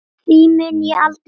Því mun ég aldrei gleyma.